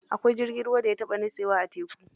Akwai jirgin ruwan da ya taɓa nitsewa a teku.